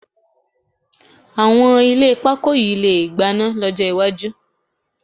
Àwọn ilé pakó yìí lè gbaná lọ́jọ́ iwájú